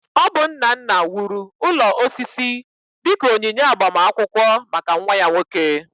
Ọ bụ nna nna wuru ụlọ osisi dị ka onyinye agbamakwụkwọ maka nwa ya nwoke